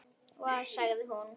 Vá, sagði hún.